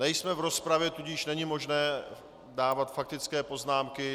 Nejsme v rozpravě, tudíž není možné dávat faktické poznámky.